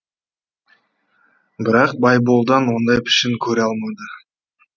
бірақ байболдан ондай пішін көре алмады